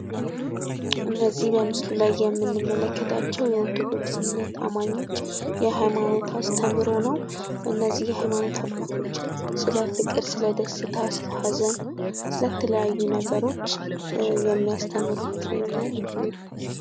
እነዚህ በምስሉ ላይ የምንመለከታቸው የኦርቶዶክስ እምነት አማኞች የሀይማኖት አስተምሮ ነው። እነዚህ የሃይማኖት አባቶች ስለ ፍቅር ስለ ደስታስለ ሀዘን ስለተለያዩ ነገሮች የሚያስተምሩት ነው ማለት ነው።